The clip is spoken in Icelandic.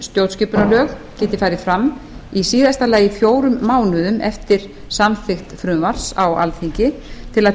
stjórnskipunarlög geti farið fram í síðasta lagi fjórum mánuðum eftir samþykkt frumvarps á alþingi til að